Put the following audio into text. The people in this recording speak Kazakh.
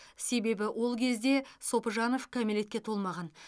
себебі ол кезде сопыжанов кәмелетке толмаған